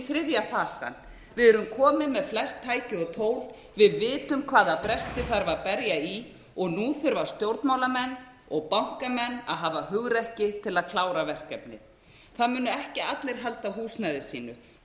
þriðja fasann við erum komin með flest tæki og tól við vitum hvaða bresti þarf að berja í og nú þurfa stjórnmálamenn og bankamenn að hafa hugrekki til að klára verkefnið það munu ekki allir halda húsnæði sínu